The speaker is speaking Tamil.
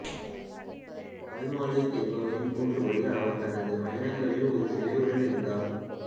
அல்மாலிக் என்பவரின் கூற்றுப்படி அவர் தனது பயணங்களில் ஒரு சிலை உடன் இருந்தார்